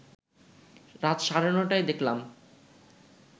রাত সাড়ে নটায় দেখলাম